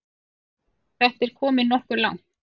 Þetta er komið nokkuð langt.